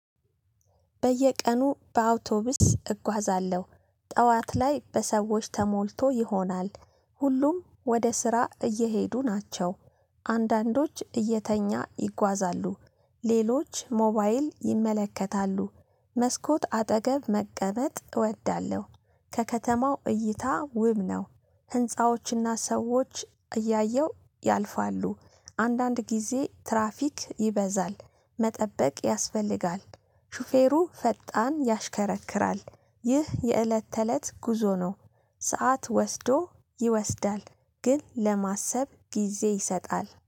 በየቀኑ በአውቶቡስ እጓዛለሁ። ጠዋት ላይ በሰዎች ተሞልቶ ይሆናል። ሁሉም ወደ ስራ እየሄዱ ናቸው። አንዳንዶች እየተኛ ይጓዛሉ። ሌሎች ሞባይል ይመለከታሉ። መስኮት አጠገብ መቀመጥ እወዳለሁ። ከከተማው እይታ ውብ ነው። ህንፃዎችና ሰዎች እያየሁ ያልፋሉ። አንዳንድ ጊዜ ትራፊክ ይበዛል መጠበቅ ያስፈልጋል። ሹፌሩ ፈጣን ያሽከረክራል ይህ የእለት ተእለት ጉዞ ነው። ሰዓት ወስዶ ይወስዳል ግን ለማሰብ ጊዜ ይሰጣል